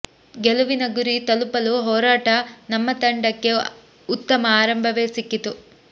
ಗೆಲುವಿನ ಗುರಿ ತಲುಪಲು ಹೊರಟ ನಮ್ಮ ತಂಡಕ್ಕೆ ಉತ್ತಮ ಆರಂಭವೇ ಸಿಕ್ಕಿತ್ತು